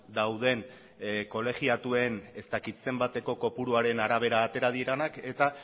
dauden kolegiatuen ez dakit zenbateko kopuruaren arabera atera direnak eta